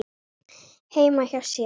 heima hjá sér.